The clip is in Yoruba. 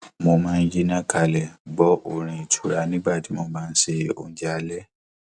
mo máa ń yínná kalẹ gbọ orin ìtura nígbà tí mo bá ń ṣe oúnjẹ alẹ